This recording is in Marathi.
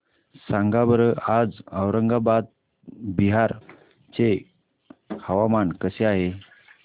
सांगा बरं आज औरंगाबाद बिहार चे हवामान कसे आहे